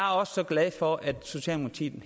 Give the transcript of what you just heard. så glad for at socialdemokratiet